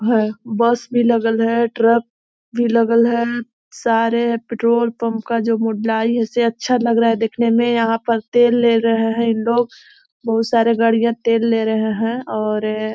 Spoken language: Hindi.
है बस भी लगल है ट्रक भी लगल है सारे पेट्रोल पंप का जो मुड़लाई इसे अच्छा लग रहा है देखनें में यहाँ पर तेल ले रहे है इन लोग बहुत सारे गाड़ियाँ तेल ले रहें हैं और --